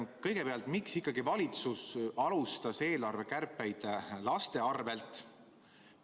Kõigepealt, miks ikkagi valitsus alustas eelarvekärpeid laste arvelt?